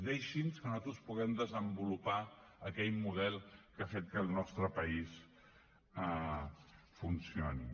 deixi’ns que nosaltres puguem desenvolupar aquell model que ha fet que el nostre país funcioni